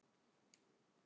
Þessi mynd